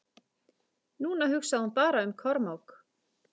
Núna hugsaði hún bara um Kormák.